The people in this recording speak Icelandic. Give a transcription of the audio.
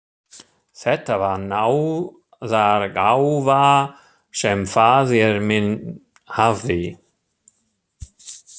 Þetta var náðargáfa sem faðir minn hafði.